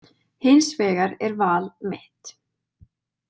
Hins vegar er val mitt.